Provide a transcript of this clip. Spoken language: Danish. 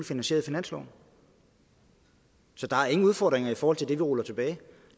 finansieret i finansloven så der er ingen udfordringer i forhold til det vi ruller tilbage